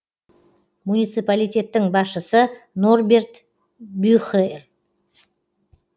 муниципалитеттің басшысы норберт бюхерль